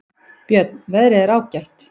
Björn: Veðrið er ágætt.